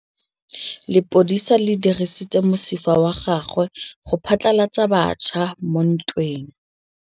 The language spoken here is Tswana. Lepodisa le dirisitse mosifa wa gagwe go phatlalatsa batšha mo ntweng.